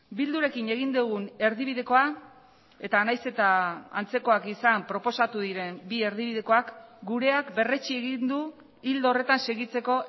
bildurekin egin dugun erdibidekoa eta nahiz eta antzekoak izan proposatu diren bi erdibidekoak gureak berretsi egin du ildo horretan segitzeko